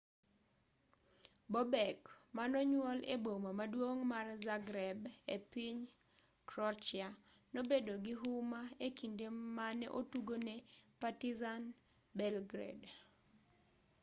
bobek manonyuol e boma maduong' mar zagreb e piny croatia nobedo gi huma e kinde mane otugo ne partizan belgrade